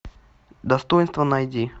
достоинства найди